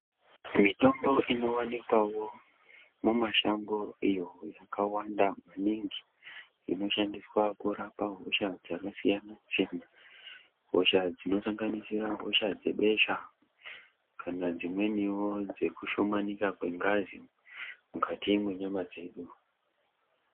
Mitombo inowanikwawo mumashango iyo zvakawanda maningi inoshandiswa kurapa hosha dzakasiyana-siyana hosha inosanganisira hosha dzebesha kana dzimweniwo dzekushomanika dzengazi mukati menyama dzedu.